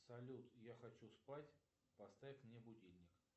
салют я хочу спать поставь мне будильник